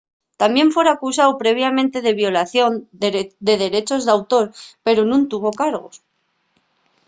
tamién fora acusáu previamente de violación de derechos d'autor pero nun tuvo cargos